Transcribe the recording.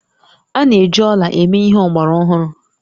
A na-eji ọla eme ihe ọgbara ọhụrụ